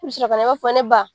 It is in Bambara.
I bi sɔrɔ ka na i b'a fɔ ne ba.